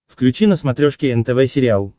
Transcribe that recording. включи на смотрешке нтв сериал